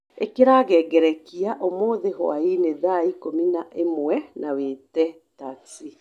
ikira ngengerekia umuthi hwaĩinĩ thaa ikũmi na ĩmwe na wĩte taxi